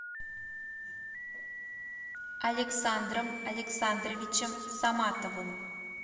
александром александровичем саматовым